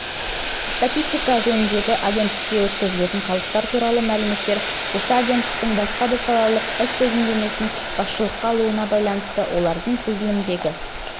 статистика жөніндегі агенттікке өткізілетін қалдықтар туралы мәліметтер осы агенттіктің басқа салалық іс тізімдемесін басшылыққа алуына байланысты олардың тізіліміндегі